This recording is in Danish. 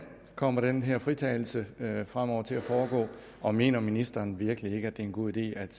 kommer den her fritagelse fremover til at foregå og mener ministeren virkelig ikke at det er en god idé at